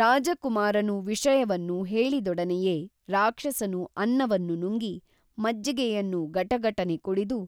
ರಾಜಕುಮಾರನು ವಿಷಯವನ್ನು ಹೇಳಿದೊಡನೆಯೇ ರಾಕ್ಷಸನು ಅನ್ನವನ್ನು ನುಂಗಿ ಮಜ್ಜಿಗೆಯನ್ನು ಗಟಗಟನೆ ಕುಡಿದು